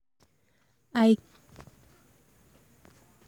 i carry sweater um follow body in case um the office later um cold.